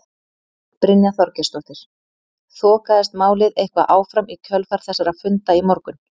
Brynja Þorgeirsdóttir: Þokaðist málið eitthvað áfram í kjölfar þessara funda í morgun?